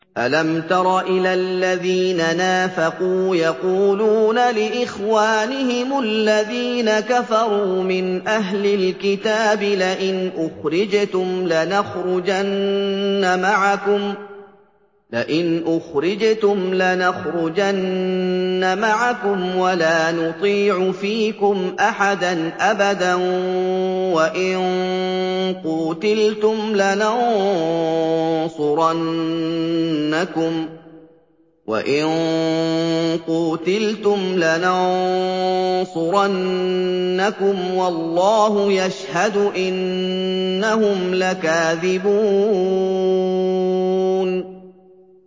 ۞ أَلَمْ تَرَ إِلَى الَّذِينَ نَافَقُوا يَقُولُونَ لِإِخْوَانِهِمُ الَّذِينَ كَفَرُوا مِنْ أَهْلِ الْكِتَابِ لَئِنْ أُخْرِجْتُمْ لَنَخْرُجَنَّ مَعَكُمْ وَلَا نُطِيعُ فِيكُمْ أَحَدًا أَبَدًا وَإِن قُوتِلْتُمْ لَنَنصُرَنَّكُمْ وَاللَّهُ يَشْهَدُ إِنَّهُمْ لَكَاذِبُونَ